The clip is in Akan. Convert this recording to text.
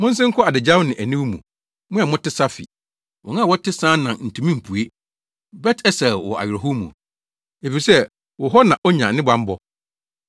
Monsen nkɔ adagyaw ne aniwu mu, mo a mote Safir. Wɔn a wɔte Saanan ntumi mpue. Bet-Esel wɔ awerɛhow mu; efisɛ, wo hɔ na onya ne bammɔ.